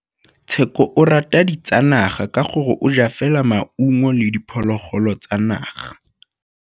Tshekô o rata ditsanaga ka gore o ja fela maungo le diphologolo tsa naga.